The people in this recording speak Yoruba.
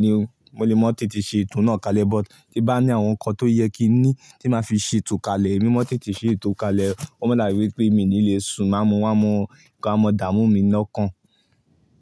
ni. Mo lè mọ tètè ṣe ètò náà kalẹ̀, but tí ń bá ní àwọn nǹkan tó yẹ kí ní tí máa fi ṣe ètò kalẹ̀, èmi mọ ntètè ṣe ètò kalẹ̀. Ó máa dàbi wípé míì ní lé sùn-ùn máa mo wá mo, nǹkan a máa dààmú mi lọ́kàn.